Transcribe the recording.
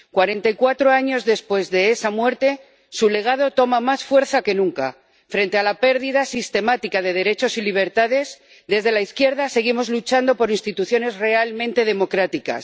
Cuarenta y cuatro años después de esa muerte, su legado toma más fuerza que nunca frente a la pérdida sistemática de derechos y libertades, desde la izquierda seguimos luchando por instituciones realmente democráticas